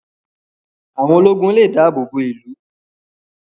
Àwọn ológun lè dáàbò bo ìlú